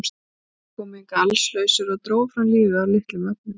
Þeir komu hingað allslausir og drógu fram lífið af litlum efnum.